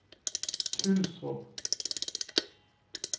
Tylstrup